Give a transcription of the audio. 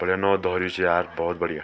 बढ़िया नौ धर्यु च यार भौत बढ़िया।